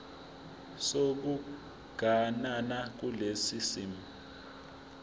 sokuganana kulesi simo